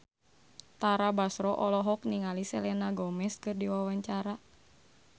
Tara Basro olohok ningali Selena Gomez keur diwawancara